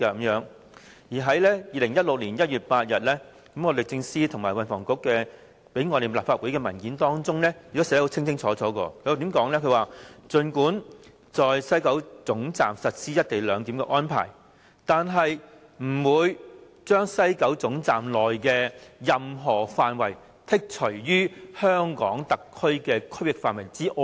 而在2016年1月8日，律政司和運輸及房屋局向立法會提供的文件亦清楚訂明："儘管在西九龍總站實施'一地兩檢'的安排，但是不會將西九龍總站內的任何範圍剔除於香港特區的區域範圍之外。